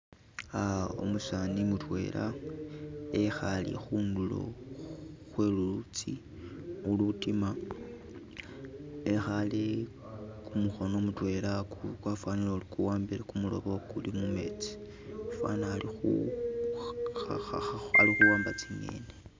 Uh umusani mutwela ekhaale khundulo khwe lulutsi ulutiima , ekhaale kumukhono mutwela kwafanile ori okuwambile kumuloobo ukuuli mumetsi fwana ali kha kha khawamba tsi'ngeni.